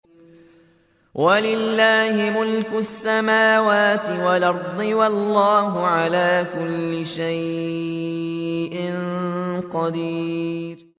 وَلِلَّهِ مُلْكُ السَّمَاوَاتِ وَالْأَرْضِ ۗ وَاللَّهُ عَلَىٰ كُلِّ شَيْءٍ قَدِيرٌ